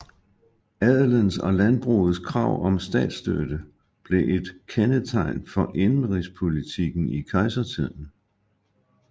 Adelens og landbrugets krav om statsstøtte blev et kendetegn for indenrigspolitikken i kejsertiden